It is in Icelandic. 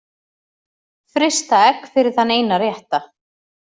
Frysta egg fyrir þann eina rétta